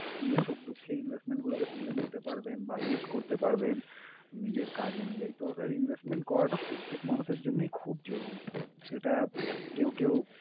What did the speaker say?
নিজের সুখ দুঃখে investment গুলোকে তুলে নিতে পারবেন বা use করতে পারবেন নিজের কাজ অনুযায়ী। তো sir investment করাটা প্রত্যেক মানুষের জন্যই খুব জরুরী। সেটা কেউ কেউ